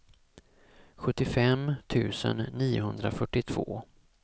sjuttiofem tusen niohundrafyrtiotvå